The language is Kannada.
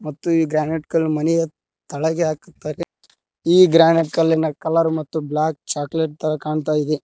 ಮತ್ತು ಈ ಗ್ರಾನೈಟ್ ಕಲ್ಲು ಮನೆಯ ಕೆಳಗೆ ಹಾಕುತ್ತಾರೆ ಈ ಗ್ರಾನೈಟ್ ಕಲ್ಲಿನ ಕಲರ್ ಮತ್ತು ಬ್ಲಾಕ್ ಚಾಕ್ಲೇಟ್ ತರ ಕಾಣ್ತಾಯಿದೆ.